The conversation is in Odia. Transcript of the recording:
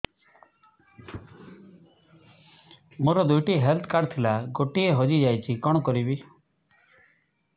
ମୋର ଦୁଇଟି ହେଲ୍ଥ କାର୍ଡ ଥିଲା ଗୋଟିଏ ହଜି ଯାଇଛି କଣ କରିବି